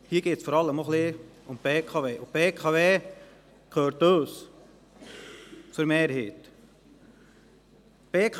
Hier geht es vor allem ein wenig um die BKW, und diese gehört zu einer Mehrheit uns.